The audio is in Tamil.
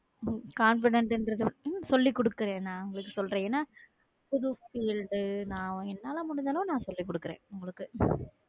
உம் Confident என்றது உம் சொல்லி கூடுக்குறேன் நா உங்களுக்கு சொல்ரே எனா என்னால முடிஞ்சதை அளவுக்கு நான் சொல்லிக் கொடுக்கிறேன் உங்களுக்கு